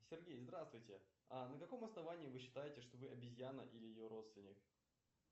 сергей здравствуйте а на каком основании вы считаете что вы обезьяна или ее родственник